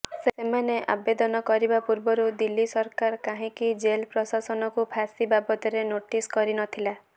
ସେମାନେ ଆବେଦନ କରିବା ପୂର୍ବରୁ ଦିଲ୍ଲୀ ସରକାର କାହିଁକି ଜେଲ ପ୍ରଶାସନକୁ ଫାଶୀ ବାବଦରେ ନୋଟିସ କରିନଥିଲା